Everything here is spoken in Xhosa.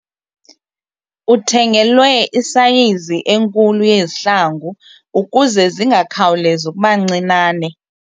Uthengelwe isayizi enkulu yezihlangu ukuze zingakhawulezi ukuba ncinane.